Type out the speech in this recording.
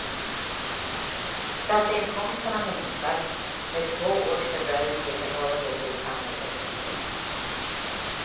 Skatteinkomsterna minskar, med två års fördröjning i förhållande till samhällsekonomin.